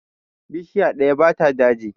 Bishiya ɗaya ba ta daji